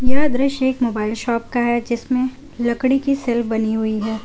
यह दृश्य एक मोबाइल शॉप का है जिसमें लकड़ी की शेल्फ बनी हुई है।